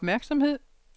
opmærksomhed